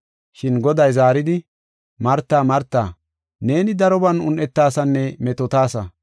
Shin Goday zaaridi, “Marta, Marta, neeni daroban un7etasaanne metootasa.